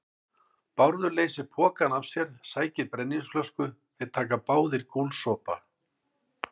Bárður leysir pokann af sér, sækir brennivínsflösku, þeir taka báðir gúlsopa.